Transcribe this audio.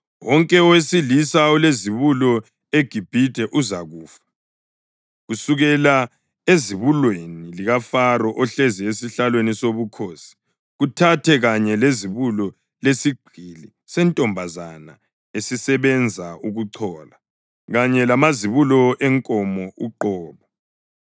Wonke owesilisa olizibulo eGibhithe uzakufa, kusukela ezibulweni likaFaro ohlezi esihlalweni sobukhosi kuthathe kanye lezibulo lesigqili sentombazana esisebenza ukuchola, kanye lamazibulo enkomo uqobo.